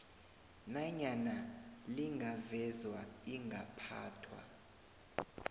nanyana lingavezwa ingaphathwa